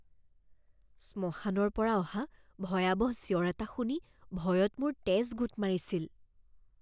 শ্মশানৰ পৰা অহা ভয়াৱহ চিঞৰ এটা শুনি ভয়ত মোৰ তেজ গোট মাৰিছিল।